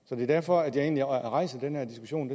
så det er derfor at jeg egentlig rejser den her diskussion